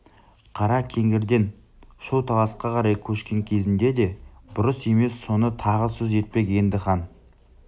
қара кеңгірден шу таласқа қарай көшкен кезінде де бұрыс емес соны тағы сөз етпек енді хан